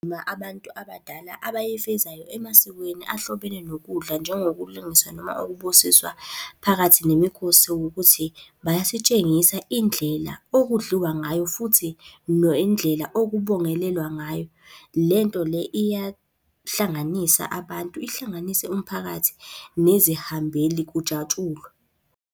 abantu abadala abayifezayo emasikweni ahlobene nokudla njengokulungiswa noma ukubusiswa phakathi nemikhosi ukuthi, bayasitshengisa indlela okudliwa ngayo futhi nendlela okubongelelwa ngayo. Lento le iyahlanganisa abantu, ihlanganise umphakathi nezihambeli kujatshulwe.